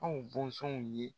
Anw bɔnzɔnw ye.